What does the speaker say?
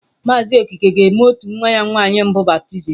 Mazị Okeke ga-eme nwa ya nwanyị mbụ baptizim echi.